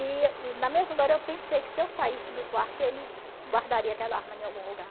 E e na mesma hora eu pensei que se eu saísse do quarto ele guardaria aquela arma em algum lugar.